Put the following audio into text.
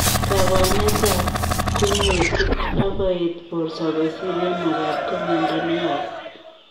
Kabwanet ap kunyutik ak koet portoo kosiir yemakaat ko miondoo neyaa koot.